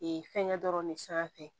Ee fɛngɛ dɔrɔn ne sanfɛ